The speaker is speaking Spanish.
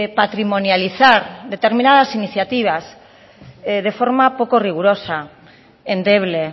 patrimonializar determinadas iniciativas de forma poco rigurosa endeble